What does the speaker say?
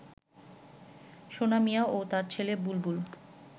সোনা মিয়া ও তার ছেলে বুলবুল